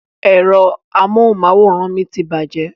Ẹ̀rọ amóhùnmáwòrán mi ti bàjẹ́